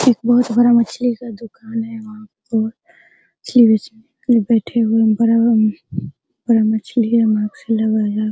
एक बहुत बड़ा मछली का दुकान है वहाँ पे --